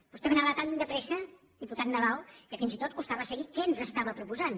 vostè anava tan de pressa diputat nadal que fins i tot costava seguir què ens estava proposant